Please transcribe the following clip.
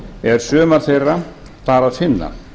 er sumar þeirra þar að finna